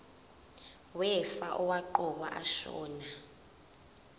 wefa owaqokwa ashona